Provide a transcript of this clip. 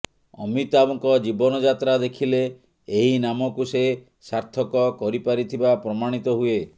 ଅମିତାଭଙ୍କ ଜୀବନ ଯାତ୍ରା ଦେଖିଲେ ଏହି ନାମକୁ ସେ ସାର୍ଥକ କରିପାରିଥିବା ପ୍ରମାଣିତ ହୁଏ